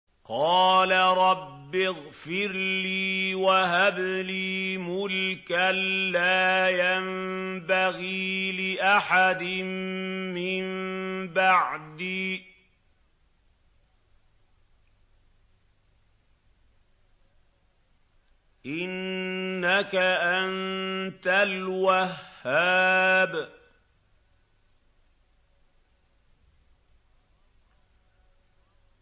قَالَ رَبِّ اغْفِرْ لِي وَهَبْ لِي مُلْكًا لَّا يَنبَغِي لِأَحَدٍ مِّن بَعْدِي ۖ إِنَّكَ أَنتَ الْوَهَّابُ